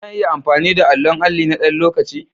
Zan iya amfani da allon alli na ɗan lokaci?